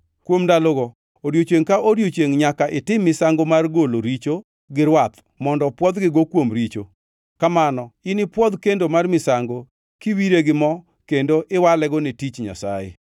Kuom ndalogo odiechiengʼ ka odiechiengʼ nyaka itim misango mar golo richo gi rwath mondo pwodhgigo kuom richo, kamano inipwodh kendo mar misango, kiwire gi mo kendo iwalego ne tich Nyasaye.